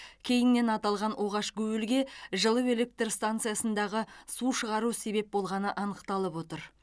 кейіннен аталған оғаш гуілге жылу электр станциясындағы су шығару себеп болғаны анықталып отыр